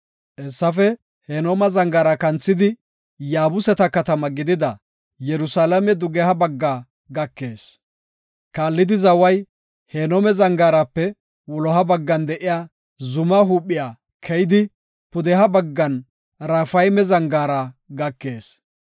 Hessafe Hinooma Zangaara kanthidi, Yaabuseta katama gidida Yerusalaame dugeha baggaa gakees. Kaallidi zaway Hinoome Zangaarape wuloha baggan de7iya zumaa huuphiya keyidi, pudeha baggan Raafayme Zangaara gakees.